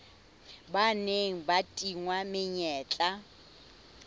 ba neng ba tingwa menyetla